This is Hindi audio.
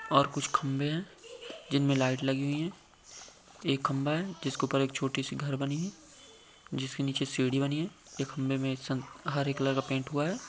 और कुछ खंबे है जिनमे लाइट लगी हुई है। एक खंबा है जिस के उपर छोटी सी घर बनी है जिसके नीचे सीडी बनी है ये खंबे मे सं हरे कलर का पेंट हुआ है।